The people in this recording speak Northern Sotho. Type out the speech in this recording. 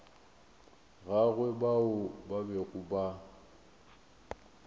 gagwe bao ba bego ba